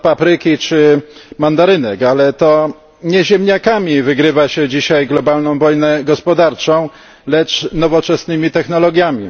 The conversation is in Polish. papryki czy mandarynek, ale to nie ziemniakami wygrywa się dzisiaj globalną wojnę gospodarczą, lecz nowoczesnymi technologiami.